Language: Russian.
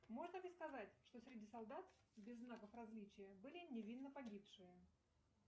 можно ли сказать что среди солдат без знаков различия были невинно погибшие